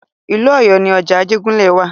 Ìlú Ọ̀yọ́ ni ọjà Ajégúnlẹ̀ wa.